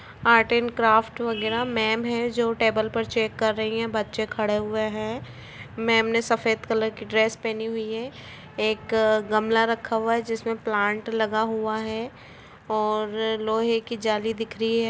'' Art and craft वगेरा ma'am हैं जो टेबल पर चेक कर रही है बच्चें खड़े हुए हैं मैम ने सफेद कलर की ड्रेस पहनी हुई है एक गमला रखा हुआ है जिसमे प्लांट लगा हुआ है और लोहे की जाली दिख रही है। ''